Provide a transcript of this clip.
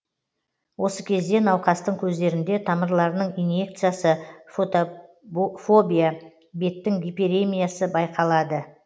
осы кезде науқастың көздерінде тамырларының иньекциясы фотофобия беттің гиперемиясы байқалады